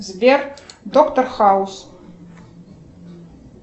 сбер доктор хаус